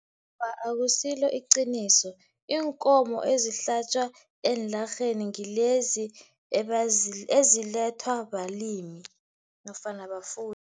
Awa, akusilo iqiniso. Iinkomo ezihlatjwa eenlarheni ngilezi ezilethwa balimi nofana bafuyi.